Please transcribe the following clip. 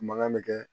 Mankan bɛ kɛ